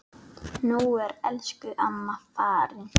Nú er elsku amma farin.